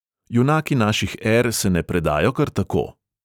Junaki naših er se ne predajo kar tako.